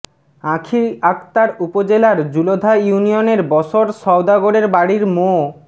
আঁখি আক্তার উপজেলার জুলধা ইউনিয়নের বশর সওদাগরের বাড়ির মো